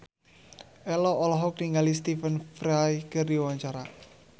Ello olohok ningali Stephen Fry keur diwawancara